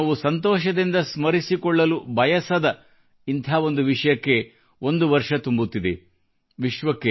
ಆದರೆ ನಾವು ಸಂತೋಷದಿಂದ ಸ್ಮರಿಸಿಕೊಳ್ಳಲು ಬಯಸದ ಇಂಥ ಒಂದು ವಿಷಯಕ್ಕೆ ಒಂದು ವರ್ಷ ತುಂಬುತ್ತಿದೆ